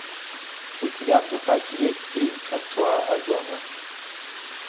у тебя в запасе есть фильм франсуа озона